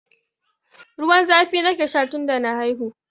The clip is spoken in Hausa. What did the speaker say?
Ruwan zafi nake sha tun da na haihu.